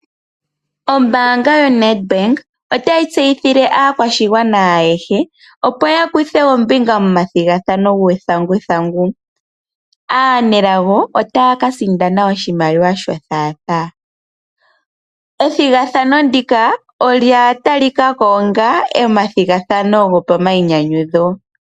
Ombaanga yoNedbank otayi tseyithile aakwashigwana ayehe opo ya kuthe ombinga momathigathano guuthanguthangu. Aanelago ota ya ka sindana oshimaliwa sho thaathaa. Ethigathano ndika olya talika ko onga omathigathano gopamainyanyudho.